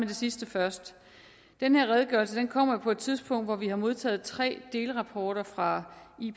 det sidste først den her redegørelse kommer jo på et tidspunkt hvor vi har modtaget tre delrapporter fra